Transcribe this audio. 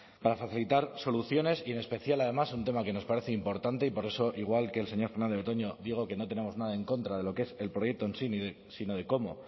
para facilitar soluciones y en especial además un tema que nos parece importante y por eso igual que el señor fernández de betoño digo que no tenemos nada en contra de lo que es el proyecto en sí sino de cómo